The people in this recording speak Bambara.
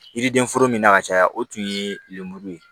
Yiriden foro min na ka caya o tun ye lemuru ye